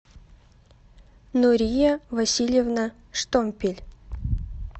нурия васильевна штомпель